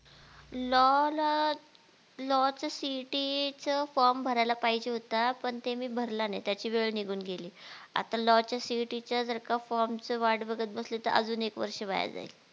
LOW ला LOW चं CET चं FROM भरायला पाहिजे होता पण ते मी भरला नाही त्याची वेळ निघून गेली आता LOW च्या CET च्या जर का FROM चं वाट बघत बसली तर अजून एक वर्ष वाया जाईल